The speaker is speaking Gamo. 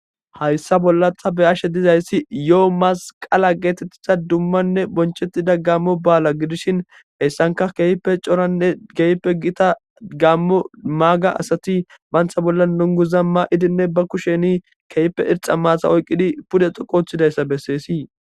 Hayssa bolla ta be7ashe dizayssi yoo masqqala geetethida dummanne bonchettida gaammo baala gidishin heyssanka keehippe coranne geyippe gita gammo maaga asati bantha bolla nunguza maa7idinne ba kusheni keyppe irxa maatha oyqqidi pude xoqqu othidayssa besseesii.